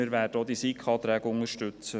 Wir werden auch die SiK-Anträge unterstützen.